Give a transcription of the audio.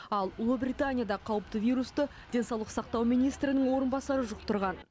ал ұлыбританияда қауіпті вирусты денсаулық сақтау министрінің орынбасары жұқтырған